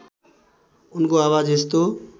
उनको आवाज यस्तो